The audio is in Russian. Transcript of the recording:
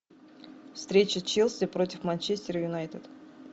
встреча челси против манчестер юнайтед